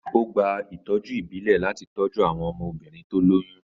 Ó gba ìtọ́jú ìbílẹ̀ láti tọ́jú àwọn obìnrin tí ó lóyún.